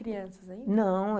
Crianças ainda? Não...